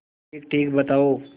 ठीकठीक बताओ